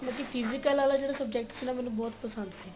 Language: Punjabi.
ਬਾਕੀ physical ਵਾਲਾ ਜਿਹੜਾ subject ਸੀ ਨਾ ਮੇਨੂੰ ਬਹੁਤ ਪਸੰਦ ਸੀ